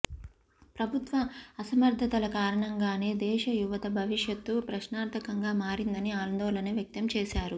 ప్రభుత్వ అసమర్ధతల కారణంగానే దేశ యువత భవిష్యత్తు ప్రశ్నార్థకంగా మారిందని ఆందోళన వ్యక్తం చేశారు